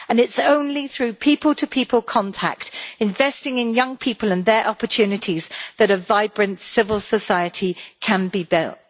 It is only through people to people contact and investing in young people and their opportunities, that a vibrant civil society can be built.